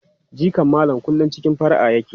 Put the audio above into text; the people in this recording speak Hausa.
Jikan Malam kullum cikin fara'a yake.